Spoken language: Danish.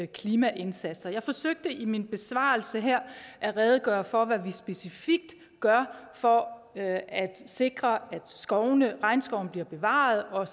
klimaindsatser jeg forsøgte i min besvarelse her at redegøre for hvad vi specifikt gør for at sikre at regnskoven bliver bevaret og at